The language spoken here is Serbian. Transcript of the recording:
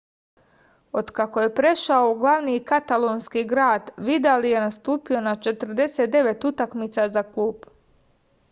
od kako je prešao u glavni katalonski grad vidal je nastupio na 49 utakmica za klub